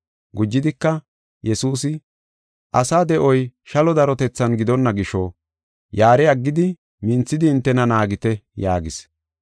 Gujidika, Yesuusi, “Asa de7oy shalo darotethan gidonna gisho yaare aggidi minthidi hintena naagite” yaagis.